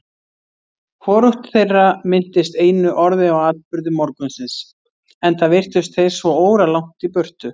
Hvorugt þeirra minntist einu orði á atburði morgunsins, enda virtust þeir svo óralangt í burtu.